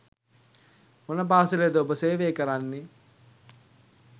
මොන පාසලේ ද ඔබ සේවය කරන්නේ?